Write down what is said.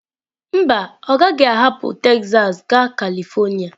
Mba, ọ gaghị ahapụ Texas gaa Kalịfornia